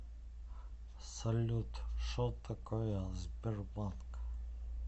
салют шо такое сбербанк